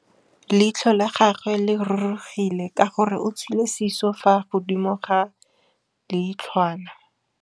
Leitlhô la gagwe le rurugile ka gore o tswile sisô fa godimo ga leitlhwana.